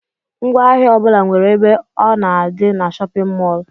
Ngwaahịa ọbula nwere ebe ọ na-adi n'shóppin mol.